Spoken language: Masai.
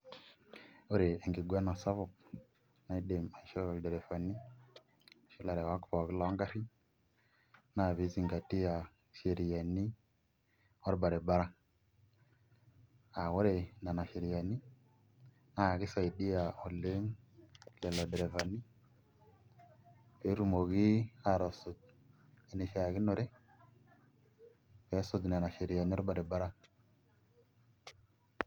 Ore enkiguana sapuk naidim aishoo ilderefani olarewak pookin loongarrin naa pee izingatia sheriani pookin orbaribara aa ore nena sheriani naa kisaidia lelo dirifani pee etumoki aatusuj enishiakinore peesuj nena sheriani orbaribara.